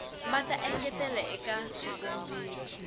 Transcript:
va ta engetela eka swikombiso